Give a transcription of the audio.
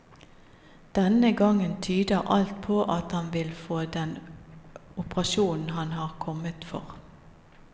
Denne gangen tyder alt på at han vil få den operasjonen han har kommet for.